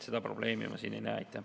Seda probleemi ma siin ei näe.